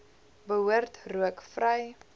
behoort rook vry